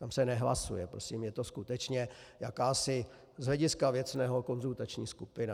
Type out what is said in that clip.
Tam se nehlasuje, prosím, je to skutečně jakási z hlediska věcného konzultační skupina.